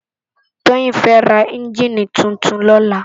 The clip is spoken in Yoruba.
Toyin fè rá ènjini tútún lòlá